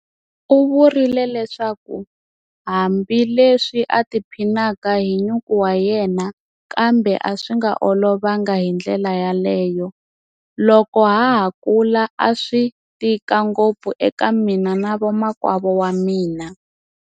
U vurile leswaku hambileswi a tiphinaka hi nyuku wa yena kambe a swi nga olovangi hi ndlela yaleyo. Loko ha ha kula a swi tika ngopfu eka mina na vamakwavo va mina.